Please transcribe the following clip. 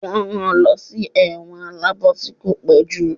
won ran lọ sí ẹ̀wọ̀n aláàbò tí ko pojú.